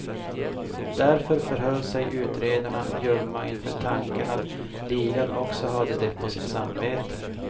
Därför förhöll sig utredarna ljumma inför tanken att ligan också hade det på sitt samvete.